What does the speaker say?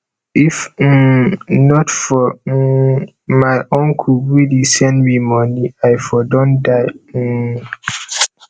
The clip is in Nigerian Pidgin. if um not for um my uncle wey dey send me money i for don die um